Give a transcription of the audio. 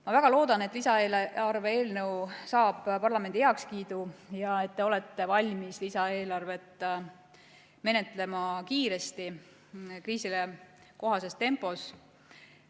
Ma väga loodan, et lisaeelarve eelnõu saab parlamendi heakskiidu ja et te olete valmis lisaeelarvet menetlema kiiresti, kriisile kohases tempos.